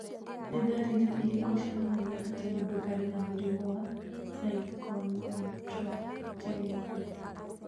Nĩ ndariri irĩkũ cionanagia atĩ mũndũ arĩ na mũrimũ wa Pyknoachondrogenesis?